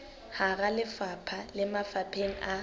hara lefapha le mafapheng a